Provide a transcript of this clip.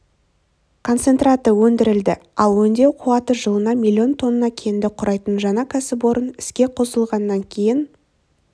концентраты өндірілді ал өңдеу қуаты жылына миллион тонна кенді құрайтын жаңа кәсіпорын іске қосылғаннан кейін